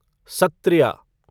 Sattriya